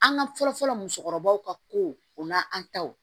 An ka fɔlɔ-fɔlɔ musokɔrɔbaw ka ko o n'an taw